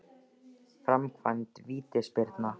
Framkvæmd vítaspyrna?